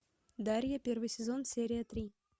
дарья первый сезон серия три